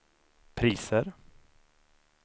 priser